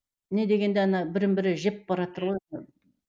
не дегенде ана бірін бірі жепбаратыр ғой